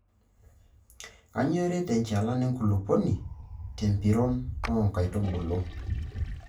Kainyioo eret enchalan enkulupuoni te mpiron oo nkaitubulu.